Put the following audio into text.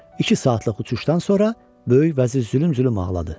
İki saatlıq uçuşdan sonra böyük vəzir zülüm-zülüm ağladı.